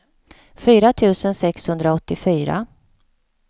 fyra tusen sexhundraåttiofyra